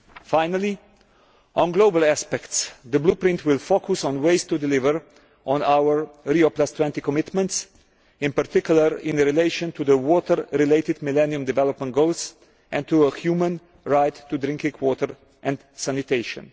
Finally, with regard to global aspects, the Blueprint will focus on ways of delivering on our Rio20 commitments, in particular in relation to the water related Millennium Development Goals and to a human right to drinking water and sanitation.